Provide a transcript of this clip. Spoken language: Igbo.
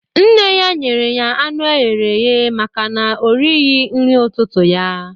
Nne ya nyere ya anụ eghere eghe maka na o righị nri ụtụtụ ya